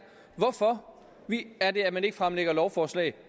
hvorfor man ikke fremsætter et lovforslag